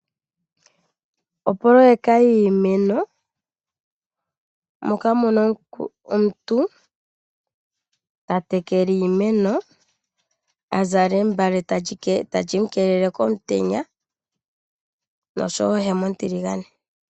Opoloyeka yiimeno moka muna omuntu tatekele iimeno a zala embale tali mu keelele komutenya noshowo ohema ontiligane.